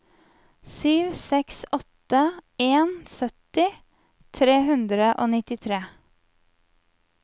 sju seks åtte en sytti tre hundre og nittitre